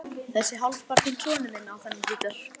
Þessi hálfpartinn sonur minn á þennan gítar.